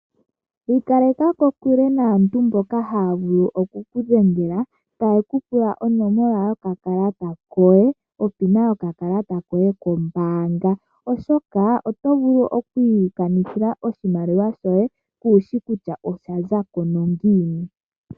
Ikaleka kokule naantu mboka haya vulu oku ku dhengela taye ku pula onomola yopin yokakalata koye kombaanga, oshoka oto vulu okwiikanithila oshimaliwa shoye, kuushi nokuli kutya osha zako ngiini.